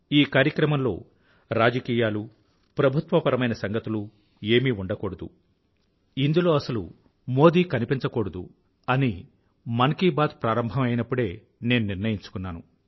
ఈ కార్యక్రమంలో రాజకీయాలు ప్రభుత్వపరమైన సంగతులు ఏమీ ఉండకూడదు ఇందులో అసలు మోదీ కనిపించకూడదు అని మన్ కీ బాత్ ప్రారంభం అయినప్పుడే నేను నిర్ణయించుకున్నాను